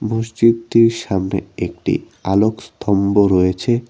মসজিদটির সামনে একটি আলোক স্থম্ভ রয়েছে।